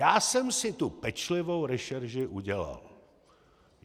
Já jsem si tu pečlivou rešerši udělal.